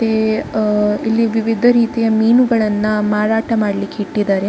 ಏ ಆ ಇಲ್ಲಿ ವಿವಿಧ ರೀತಿಯ ಮಿನುಗಳನ್ನ ಮಾರಾಟ ಮಾಡ್ಲಿಕ್ಕೆ ಇಟ್ಟಿದ್ದಾರೆ.